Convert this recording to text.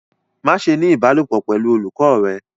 Maṣe ni ibalopọ pẹlu olukọ rẹ